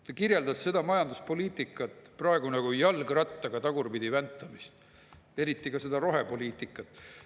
Ta kirjeldas seda majanduspoliitikat praegu nagu jalgrattaga tagurpidi väntamist, eriti rohepoliitikat.